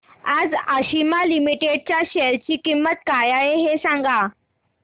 आज आशिमा लिमिटेड च्या शेअर ची किंमत काय आहे हे सांगा